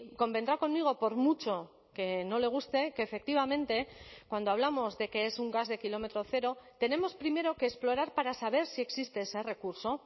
convendrá conmigo por mucho que no le guste que efectivamente cuando hablamos de que es un gas de kilómetro cero tenemos primero que explorar para saber si existe ese recurso